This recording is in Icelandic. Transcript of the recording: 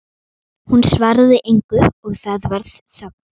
Hún svaraði engu og það varð þögn.